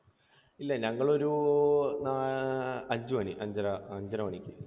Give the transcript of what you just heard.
ഇല്ല ഞങ്ങൾ ഒരു നാ, അഞ്ചുമണി, അഞ്ചു മണിക്ക്.